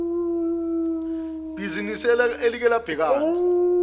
bhizinisi elike labhekana